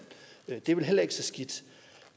det er vel heller ikke så skidt